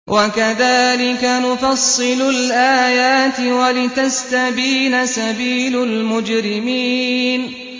وَكَذَٰلِكَ نُفَصِّلُ الْآيَاتِ وَلِتَسْتَبِينَ سَبِيلُ الْمُجْرِمِينَ